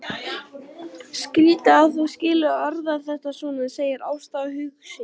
Skrýtið að þú skulir orða þetta svona, segir Ásta hugsi.